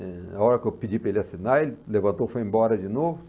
A hora que eu pedi para ele assinar, ele levantou e foi embora de novo.